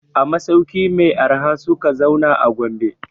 A masauki mai arha suka zauna a Gombe.